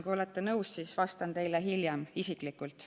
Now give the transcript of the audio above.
Kui olete nõus, siis vastan teile hiljem isiklikult.